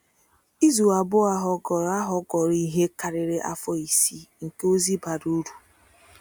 Izu abụọ ahụ ghọrọ ahụ ghọrọ ihe karịrị afọ isii nke ozi bara uru.